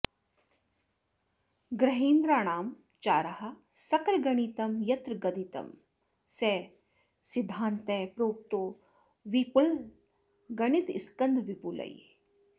ग्रहेन्द्राणां चाराः सकलगणितं यत्र गदितं स सिद्धान्तः प्रोक्तो विपुलगणितस्कन्धविपुलैः